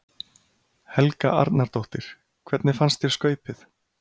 Helga Arnardóttir: Hvernig fannst þér skaupið?